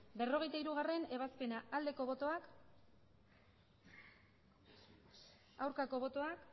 berrogeita hirugarrena ebazpena aldeko botoak aurkako botoak